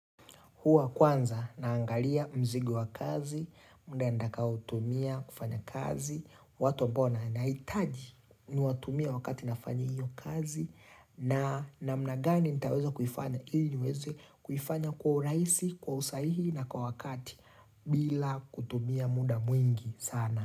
Huwa kwanza naangalia mzigo wa kazi, muda nitaoutumia kufanya kazi, watu ambao nahitaji niwatumia wakati nafanya hiyo kazi na namnagani nitaweza kufanya ili niweze kuifanya kwa urahisi, kwa usahihi na kwa wakati bila kutumia muda mwingi sana.